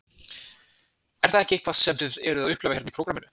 Er það ekki eitthvað sem þið eruð að upplifa hérna í prógramminu?